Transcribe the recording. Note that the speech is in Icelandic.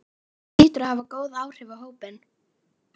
Það hlýtur að hafa góð áhrif á hópinn?